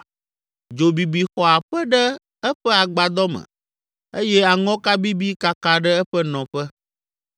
Dzo bibi xɔ aƒe ɖe eƒe agbadɔ me eye aŋɔka bibi kaka ɖe eƒe nɔƒe.